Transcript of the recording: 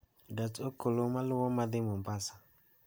gach okolomaluwo madhi mombasa